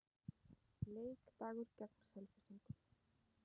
Leikdagur gegn Selfyssingum.